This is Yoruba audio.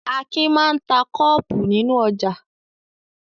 Akin máa ń ta kọ́ọ́pù nínú ọjà.